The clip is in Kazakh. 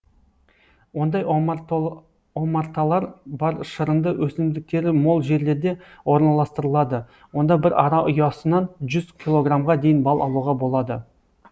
ондай омарталар бал шырынды өсімдіктері мол жерлерде орналастырылады онда бір ара ұясынан жүз килограммға дейін бал алуға болады